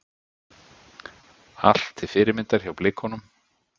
Allt til fyrirmyndar hjá Blikunum.